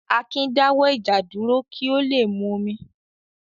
Akin dáwọ́ ìjà dúró kí ó le múmi.